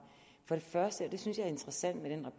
for det første og det synes jeg er interessant